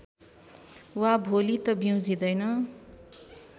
वा भोलि त ब्युँझिदैन